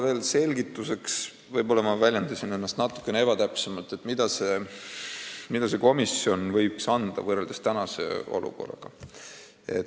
Veel selgituseks – võib-olla ma väljendasin ennast natukene ebatäpselt –, mida see komisjon võiks anda, võrreldes tänase olukorraga.